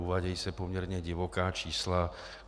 Uvádějí se poměrně divoká čísla.